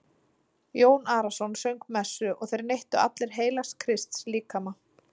Jón Arason söng messu og þeir neyttu allir heilags Krists líkama.